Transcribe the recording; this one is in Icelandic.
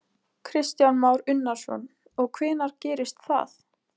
Kristján Már Unnarsson: Og hvenær gerist það?